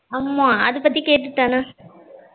ஆமா அது பத்தி கேட்டுத்தானா